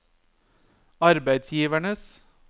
arbeidsgivernes